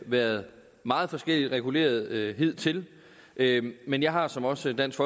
været meget forskelligt reguleret hidtil men men jeg har som også dansk